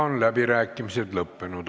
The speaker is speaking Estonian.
Läbirääkimised on lõppenud.